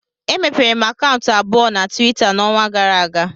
Emepere m akaụntụ abụọ na Tuweeta n'ọnwa gara aga